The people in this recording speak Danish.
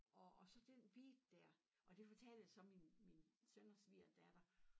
Og og så den beat dér og det fortalte jeg så min min søn og svigerdatter